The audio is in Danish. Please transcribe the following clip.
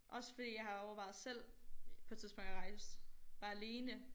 Også fordi jeg har overvejet selv på et tidspunkt at rejse bare alene